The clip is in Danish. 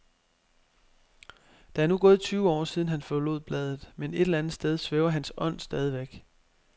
Der er nu gået tyve år, siden han forlod bladet, men et eller andet sted svæver hans ånd stadigvæk.